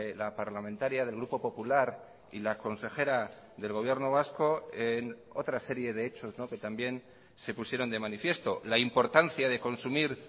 la parlamentaria del grupo popular y la consejera del gobierno vasco en otra serie de hechos que también se pusieron de manifiesto la importancia de consumir